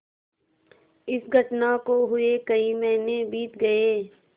इस घटना को हुए कई महीने बीत गये